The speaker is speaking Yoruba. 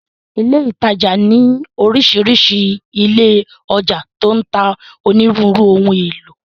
Ilé ìtajà ní orísìírísìí ilé ọjà tó ń ta onírúurú ohun èlò.